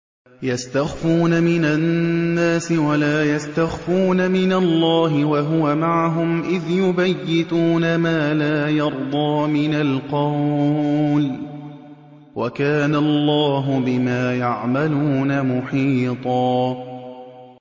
يَسْتَخْفُونَ مِنَ النَّاسِ وَلَا يَسْتَخْفُونَ مِنَ اللَّهِ وَهُوَ مَعَهُمْ إِذْ يُبَيِّتُونَ مَا لَا يَرْضَىٰ مِنَ الْقَوْلِ ۚ وَكَانَ اللَّهُ بِمَا يَعْمَلُونَ مُحِيطًا